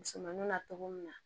Musomanin na cogo min na